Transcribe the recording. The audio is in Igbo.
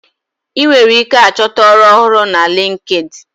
I nwere ike achọta ọrụ na linkedi